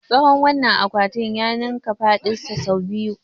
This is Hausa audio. Tsawon wannan akwatin ya ninka faɗinsa sau biyu.